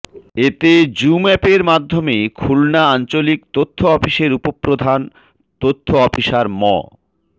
এতে জুম অ্যাপের মাধ্যমে খুলনা আঞ্চলিক তথ্য অফিসের উপপ্রধান তথ্য অফিসার ম